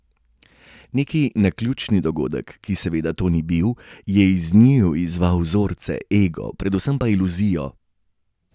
Neki naključni dogodek, ki seveda to ni bil, je iz njiju izzval vzorce, ego, predvsem pa iluzijo.